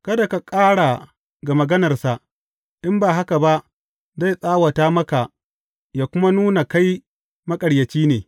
Kada ka ƙara ga maganarsa, in ba haka ba zai tsawata maka ya kuma nuna kai maƙaryaci ne.